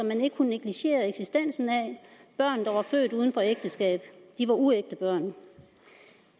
man ikke kunne negligere de børn der var født uden for et ægteskab var uægte børn